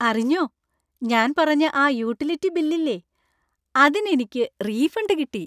അറിഞ്ഞോ, ഞാൻ പറഞ്ഞ ആ യൂട്ടിലിറ്റി ബിൽ ഇല്ലേ, അതിനെനിക്ക് റീഫണ്ട് കിട്ടി.